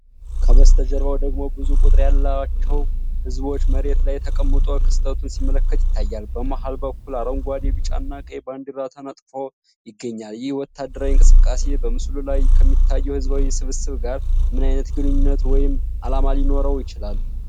ከበስተጀርባው ደግሞ ብዙ ቁጥር ያለው ሕዝብ መሬት ላይ ተቀምጦ ክስተቱን ሲመለከት ይታያል። በመሃል በኩል አረንጓዴ፣ ቢጫና ቀይ ባንዲራ ተነጥፎ ይገኛል። ይህ ወታደራዊ እንቅስቃሴ በምስሉ ላይ ከሚታየው ሕዝባዊ ስብስብ ጋር ምን ዓይነት ግንኙነት ወይም ዓላማ ሊኖረው ይችላል?